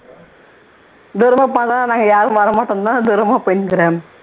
தூரமா போனா நாங்க யாரும் வரமாட்டோம்னுதான் தூரமா போயின்னு இருக்குற